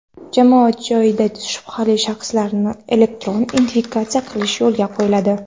Jamoat joyida shubhali shaxslarni elektron identifikatsiya qilish yo‘lga qo‘yiladi.